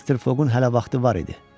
Mister Foqun hələ vaxtı var idi.